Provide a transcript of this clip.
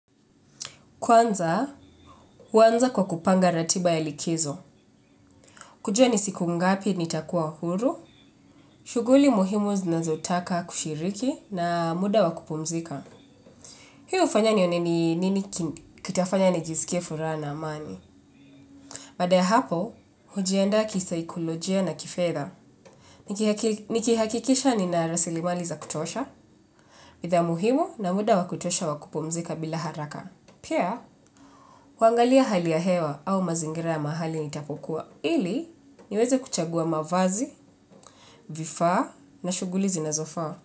Kwanza, huanza kwa kupanga ratiba ya likizo. Kujua nisiku ngapi nitakuwa huru, shughuli muhimu zinazotaka kushiriki na muda wakupumzika. Hii hufanya nione ni nini kitafanya nijisikie furaha na amani. Baada ya hapo, hujiandaa kisaikolojia na kifedha. Nikihakikisha ninarasilimali za kutosha, bidhaa muhimu na muda wakutosha wakupumzika bila haraka. Pia, huangalia hali ya hewa au mazingira ya mahali nitapokuwa. Ili niweze kuchagua mavazi, vifaa na shughuli zinazofa.